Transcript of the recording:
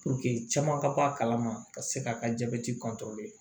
caman ka bɔ a kalama ka se ka ka jabɛti